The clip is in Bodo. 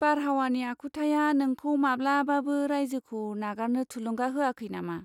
बारहावानि आखुथाया नोंखौ माब्लाबाबो रायजोखौ नागारनो थुलुंगा होयाखै नामा?